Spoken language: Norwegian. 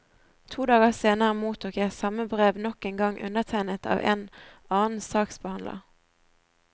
To dager senere mottok jeg samme brev nok en gang undertegnet av en annen saksbehandler.